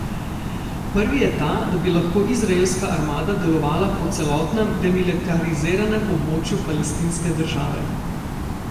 Prvi je ta, da bi lahko izraelska armada delovala po celotnem demilitariziranem območju palestinske države.